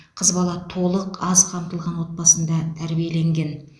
қыз бала толық аз қамтылған отбасында тәрбиеленген